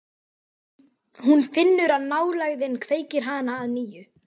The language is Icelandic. Hún finnur að nálægðin kveikir hana að nýju.